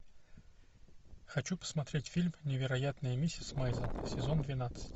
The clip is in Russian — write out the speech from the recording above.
хочу посмотреть фильм невероятная миссис мейзел сезон двенадцать